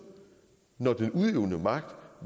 hvor den udøvende magt